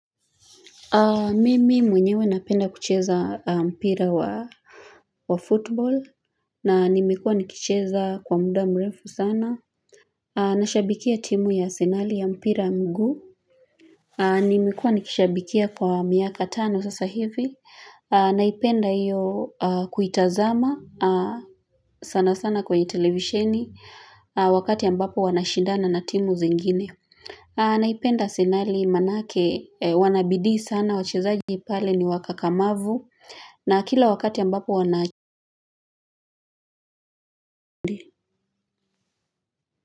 Mimi mwenyewe napenda kucheza mpira wa wa football na nimikuwa nikicheza kwa muda mrefu sana. Nashabikia timu ya Arsenal ya mpira wa mguu. Nimekuwa nikishabikia kwa miaka tano sasa hivi. Naipenda hiyo kuitazama sana sana kwenye televisheni wakati ambapo wanashindana na timu zingine. Naipenda Arsenal maana yake wanabidhii sana wachezaji pale ni wakakamavu na kila wakati ambapo wana.